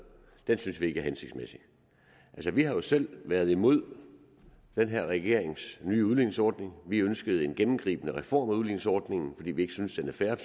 synes vi ikke er hensigtsmæssig vi har jo selv været imod den her regerings nye udligningsordning vi ønskede en gennemgribende reform af udligningsordningen fordi vi ikke synes den er fair